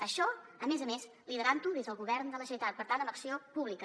això a més a més liderant ho des del govern de la generalitat per tant amb acció pública